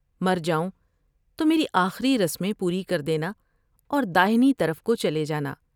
مرجاؤں تو میری آخری رسمیں پوری کرد ینا ا ور داہنی طرف کو چلے جانا ۔